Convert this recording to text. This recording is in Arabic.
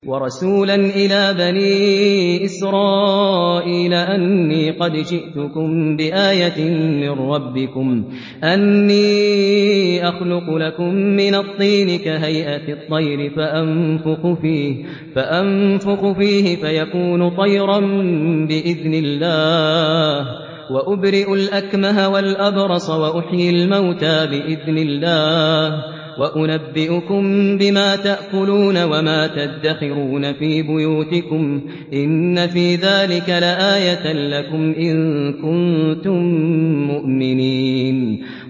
وَرَسُولًا إِلَىٰ بَنِي إِسْرَائِيلَ أَنِّي قَدْ جِئْتُكُم بِآيَةٍ مِّن رَّبِّكُمْ ۖ أَنِّي أَخْلُقُ لَكُم مِّنَ الطِّينِ كَهَيْئَةِ الطَّيْرِ فَأَنفُخُ فِيهِ فَيَكُونُ طَيْرًا بِإِذْنِ اللَّهِ ۖ وَأُبْرِئُ الْأَكْمَهَ وَالْأَبْرَصَ وَأُحْيِي الْمَوْتَىٰ بِإِذْنِ اللَّهِ ۖ وَأُنَبِّئُكُم بِمَا تَأْكُلُونَ وَمَا تَدَّخِرُونَ فِي بُيُوتِكُمْ ۚ إِنَّ فِي ذَٰلِكَ لَآيَةً لَّكُمْ إِن كُنتُم مُّؤْمِنِينَ